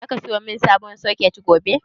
Zaka sayo min sabon soket gobe?